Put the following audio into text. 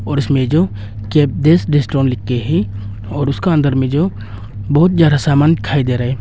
और उसमें जो कैफे रेस्टोरेंट लिख के है और उसका अंदर में जो बहुत ज्यादा सामान दिखाई दे रहा है।